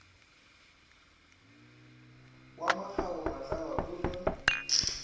wa makgabo matlala o ja